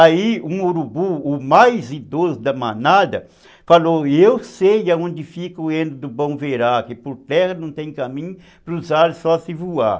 Aí um urubu, o mais idoso da manada, falou, eu sei aonde fica o heno do bom verá, que por terra não tem caminho, para os ares só se voar.